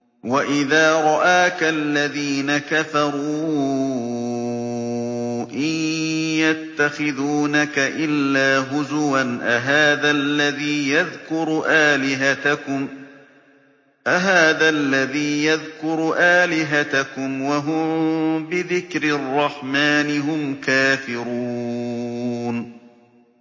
وَإِذَا رَآكَ الَّذِينَ كَفَرُوا إِن يَتَّخِذُونَكَ إِلَّا هُزُوًا أَهَٰذَا الَّذِي يَذْكُرُ آلِهَتَكُمْ وَهُم بِذِكْرِ الرَّحْمَٰنِ هُمْ كَافِرُونَ